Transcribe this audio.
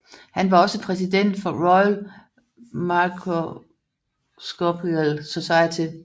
Han var også præsident for Royal Microscopical Society